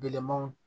Belemanw